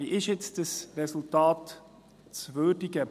Wie ist dieses Resultat nun zu würdigen?